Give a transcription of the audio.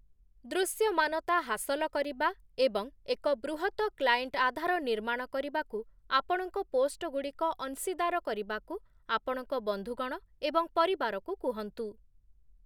ଦୃଶ୍ୟମାନତା ହାସଲ କରିବା ଏବଂ ଏକ ବୃହତ କ୍ଲାଏଣ୍ଟ ଆଧାର ନିର୍ମାଣ କରିବାକୁ ଆପଣଙ୍କ ପୋଷ୍ଟଗୁଡ଼ିକ ଅଂଶୀଦାର କରିବାକୁ ଆପଣଙ୍କ ବନ୍ଧୁ ଗଣ ଏବଂ ପରିବାରକୁ କୁହନ୍ତୁ ।